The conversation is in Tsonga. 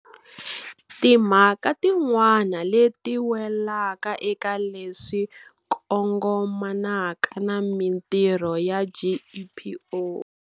Timhaka tin'wana leti welaka eka leswi kongomanaka na mitirho ya GEPO.